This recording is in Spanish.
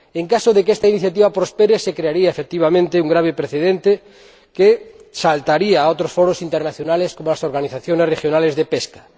En caso de que esta iniciativa prospere, se crearía, efectivamente, un grave precedente que saltaría a otros foros internacionales, como las organizaciones regionales de pesca.